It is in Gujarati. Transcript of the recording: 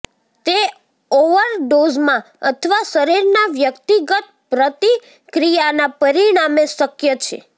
તે ઓવરડોઝમાં અથવા શરીરના વ્યક્તિગત પ્રતિક્રિયાના પરિણામે શક્ય છે